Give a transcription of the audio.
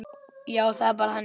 Já, það er bara ég.